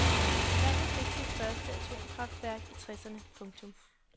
Landet fik sit første atomkraftværk i tresserne . punktum